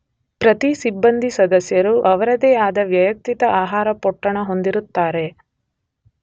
ಪ್ರತಿ ಸಿಬ್ಬಂದಿ ಸದಸ್ಯರು ಅವರದೇ ಆದ ವೈಯಕ್ತಿಕ ಆಹಾರ ಪೊಟ್ಟಣ ಹೊಂದಿರುತ್ತಾರೆ.